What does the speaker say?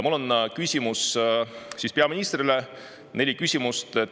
Mul on peaministrile neli küsimust.